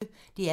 DR P1